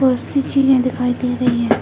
बहुत सी चिड़िया दिखाई दे रही हैं।